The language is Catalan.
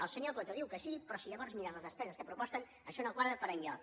el senyor coto diu que sí però si llavors mires les despeses que proposen això no quadra per enlloc